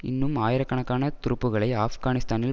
இன்னும் ஆயிரக்கணக்கான துருப்புக்களை ஆப்கானிஸ்தானில்